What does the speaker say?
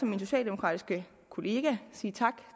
min socialdemokratiske kollega sige tak